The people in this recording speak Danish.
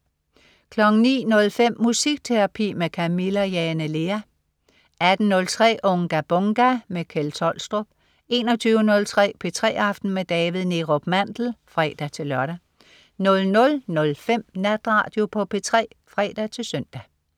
09.05 Musikterapi med Camilla Jane Lea 18.03 Unga Bunga! Kjeld Tolstrup 21.03 P3 aften med David Neerup Mandel (fre-lør) 00.05 Natradio på P3 (fre-søn)